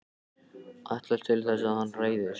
Ætlast til þess að hann hræðist.